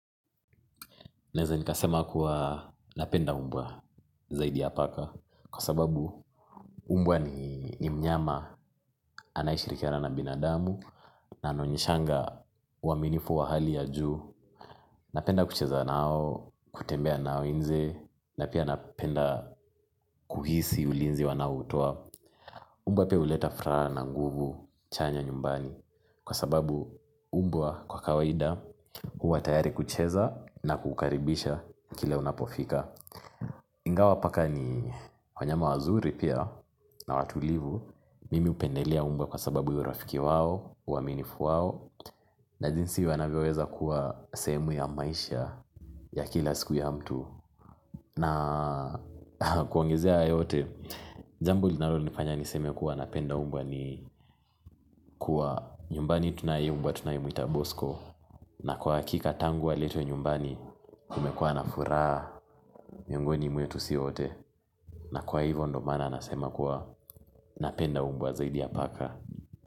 Naeza nikasema kuwa napenda umbwa zaidi ya paka kwa sababu umbwa ni mnyama anayeshirikiana na binadamu na anaonyeshanga uwaminifu wa hali ya juu. Napenda kucheza nao, kutembea nao njee na pia napenda kuhisi ulinzi wanaoutoa. Umbwa pia huleta furaha na nguvu chanya nyumbani kwa sababu umbwa kwa kawaida huwa tayari kucheza na kukaribisha kila unapofika. Ingawa paka ni wanyama wazuri pia na watulivu mimi hupendelea umbwa kwa sababu yurafiki wao, uaminifu wao na jinsi wanavyoweza kuwa sehemu ya maisha ya kila siku ya mtu na kuongezea yote, jambo linalo nifanya niseme kuwa napenda umbwa ni kuwa nyumbani tunae mbwa tunae muita bosco na kwa hakika tangu aletwe nyumbani kumekuwa na furaha miongoni mwetu si wote na kwa hivyo ndo maana nasema kuwa napenda mbwa zaidi ya paka.